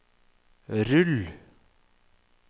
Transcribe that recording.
rull